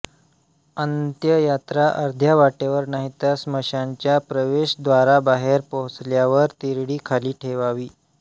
अंत्ययात्रा अर्ध्या वाटेवर नाहीतर स्मशानाच्या प्रवेशद्वाराबाहेर पोहोचल्यावर तिरडी खाली ठेवावी